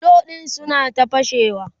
bulo ɗin suna ta fashewa